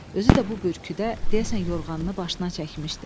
Özü də bu bürküdə, deyəsən yorğanını başına çəkmişdi.